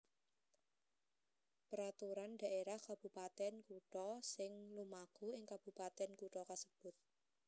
Peraturan Dhaérah Kabupatèn Kutha sing lumaku ing kabupatèn kutha kasebut